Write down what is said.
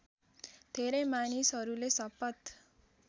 धेरै मानिसहरूले शपथ